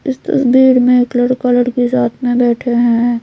इस तस्वीर में एक लड़का लड़की साथ में बैठा है।